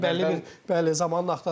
Bu bəlli bir, bəli, zamanın axtarışıdır.